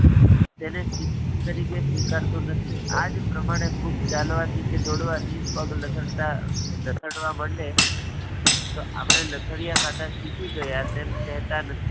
તેને શિક્ષણ તરીકે સ્વીકરતું નથી. આ જ પ્રમાણે ખૂબ ચાલવા થી કે દોડવા થી પગ લથડતા લથડવા મંડે તો આપણે લથડિયા ખાતા શીખી ગયા. તમે તે કહેતા નથી.